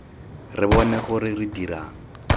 re bone gore re dirang